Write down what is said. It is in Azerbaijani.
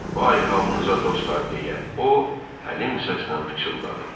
Vay halınıza dostlar, deyə o, həlim səslə pıçıldadı.